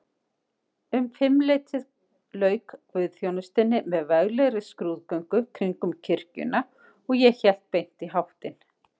Um fimmleytið lauk guðsþjónustunni með veglegri skrúðgöngu kringum kirkjuna, og ég hélt beint í háttinn.